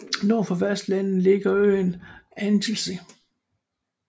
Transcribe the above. Nord for fastlandet ligger øen Anglesey